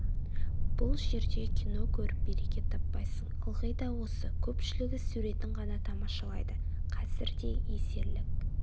бұл жерде кино көріп береке таппайсың ылғи да осы көпшілігі суретін ғана тамашалайды қазір де есерлік